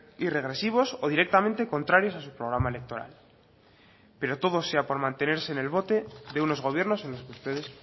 y regresivos o directamente contrarios a su programa electoral pero todo sea por mantenerse en el bote de unos gobiernos en los que ustedes